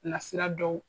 Nasira dɔw